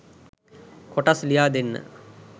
කොටස්‌ ලියා දෙන්න